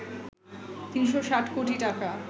৩৬০ কোটি টাকা